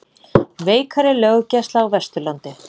Veikari löggæsla á Vesturlandi